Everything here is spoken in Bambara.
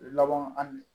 Laban an